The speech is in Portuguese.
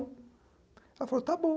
Ela falou, está bom.